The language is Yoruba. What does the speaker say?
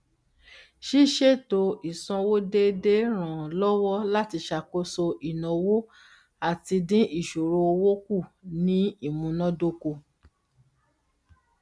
ṣíṣètò ísanwó déédé ràn án lọwọ láti ṣàkóso ináwó àti dín ìṣòro owó kù ní imunádókò